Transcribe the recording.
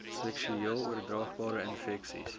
seksueel oordraagbare infeksies